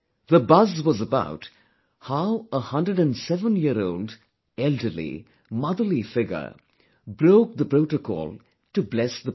The buzz was about how a 107 year old elderly motherly figure broke the protocol to bless the President